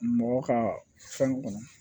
Mɔgɔ ka fɛn kɔnɔ